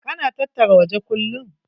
Ka na tattara waje kullum?